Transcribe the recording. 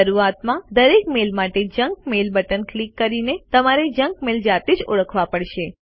શરૂઆતમાં દરેક મેઈલ માટે જંક મેઇલ બટન ક્લિક કરીને તમારે જંક મેલ જાતે જ ઓળખવા પડશે